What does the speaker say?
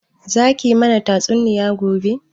Za ki mana tatsuniya gobe?